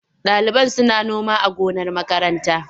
Ɗaliban suna noma a gonar makaranta.